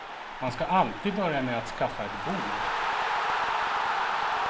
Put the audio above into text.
Man ska alltid börja med att skaffa ett bord.